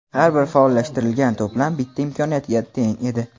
Har bir faollashtirilgan to‘plam bitta imkoniyatga teng edi.